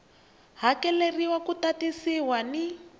hakeleriwa wu ta tisiwa ni